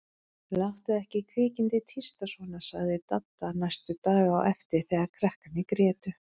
Láttu ekki kvikindið tísta svona sagði Dadda næstu daga á eftir þegar krakkarnir grétu.